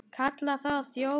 Kallaði þá þjófa.